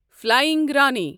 flying Rani